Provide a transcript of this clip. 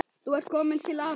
Þú ert komin til afa.